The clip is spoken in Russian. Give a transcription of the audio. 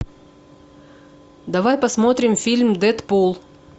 давай посмотрим фильм дэдпул